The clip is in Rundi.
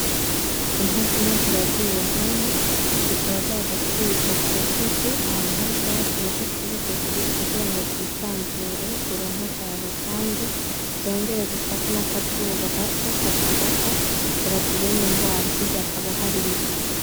Inka zine ziragiriwe hamwe zikaba zaje kurisha kugasozi ahantu hari ubwatsi bugufi bugufi kugirango zisanzure zironke akayaga kandi zongere zifate n'akazuba gato kazifata ngo bazirinde ingwara hirya hakaba hari ibiti.